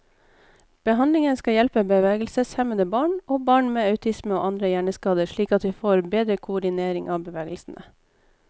Behandlingen skal hjelpe bevegelseshemmede barn, og barn med autisme og andre hjerneskader slik at de får bedre koordinering av bevegelsene.